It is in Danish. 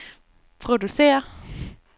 producere